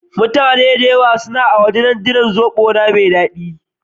Mutane da yawa na a waje suna jiran zobo na mai dadi.